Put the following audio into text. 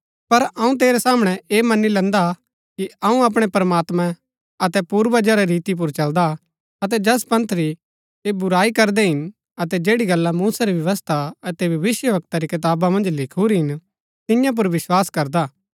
पर अऊँ तेरै सामणै ऐह मनी लैन्दा हा कि अऊँ अपणै प्रमात्मां अतै पूर्वजा री रीति पुर चलदा हा अतै जैस पंथ री ऐह बुराई करदै हिन अतै जैड़ी गल्ला मूसा री व्यवस्था अतै भविष्‍यवक्ता री कताबा मन्ज लिखुरी हिन तियां पुर विस्वास करदा